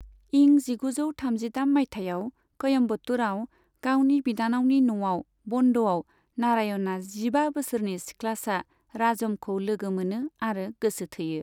इं जिगुजौ थामजिथाम मायथाइयाव क'यम्बटूरआव गावनि बिनानावनि न'आव बन्द'आव नारायणआ जिबा बोसोरनि सिख्लासा राजमखौ लोगो मोनो आरो गोसो थोयो।